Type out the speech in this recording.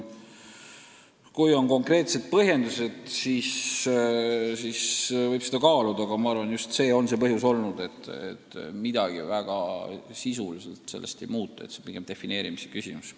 Kui on konkreetsed põhjendused, siis võib seda kaaluda, aga ma arvan, et sisuliselt sellest midagi ei muutuks, see on pigem defineerimise küsimus.